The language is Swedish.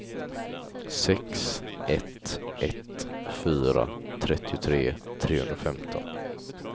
sex ett ett fyra trettiotre trehundrafemton